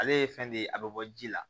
Ale ye fɛn de ye a bɛ bɔ ji la